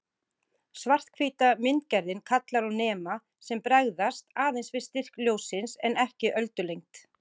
Svarthvíta myndgerðin kallar á nema sem bregðast aðeins við styrk ljóssins en ekki öldulengd.